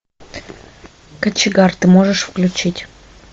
кочегар ты можешь включить